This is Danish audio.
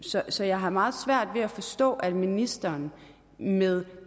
så jeg har meget svært ved at forstå at ministeren med